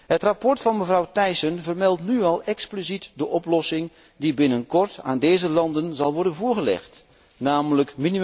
Het verslag van mevrouw Thyssen vermeldt nu al expliciet de oplossing die binnenkort aan deze landen zal worden voorgelegd, nl.